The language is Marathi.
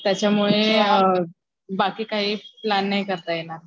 त्याच्यामुळे बाकी काही प्लॅन नाही करता येणार.